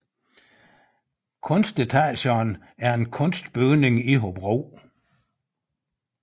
Kunstetagerne er en kunstbygning i Hobro